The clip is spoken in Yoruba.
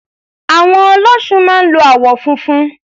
Àwọ̀n Ọlọ́ṣun máa ń lo àwọn funfun.